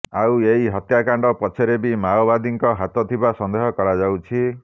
ଆଉ ଏହି ହତ୍ୟାକାଣ୍ଡ ପଛରେ ବି ମାଓବାଦୀଙ୍କ ହାତ ଥିବା ସନ୍ଦେହ କରାଯାଉଛି